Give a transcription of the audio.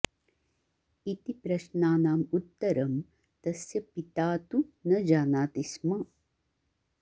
इति प्रश्नानाम् उत्तरं तस्य पिता तु न जानाति स्म